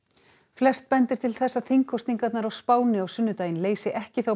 flest bendir til þess að þingkosningarnar á Spáni á sunnudaginn leysi ekki þá